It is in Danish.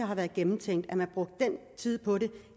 har været gennemtænkt at man har brugt den tid på det